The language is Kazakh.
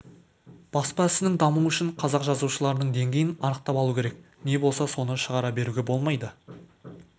баспа ісінің дамуы үшін қазақ жазушыларының деңгейін анақтап алу керек не болса соны шығара беруге болмайды